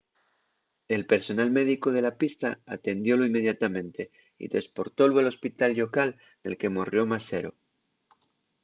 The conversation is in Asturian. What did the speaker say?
el personal médico de la pista atendiólu inmediatamente y tresportólu al hospital llocal nel que morrió más sero